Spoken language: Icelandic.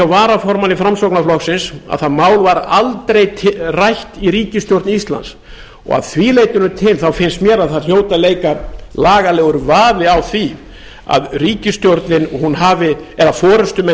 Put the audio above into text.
varaformanni framsóknarflokksins að það mál var aldrei rætt í ríkisstjórn íslands og að því leytinu til finnst mér að það hljóti að leika lagalegur vafi á því að ríkisstjórnin eða forustumenn